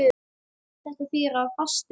Þetta þýðir að fastinn